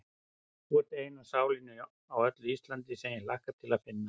Þú ert eina sálin á öllu Íslandi, sem ég hlakka til að finna.